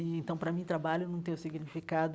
Então, para mim, trabalho não tem o significado